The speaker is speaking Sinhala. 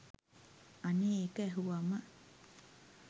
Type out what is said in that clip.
අනේ ඒක ඇහුවම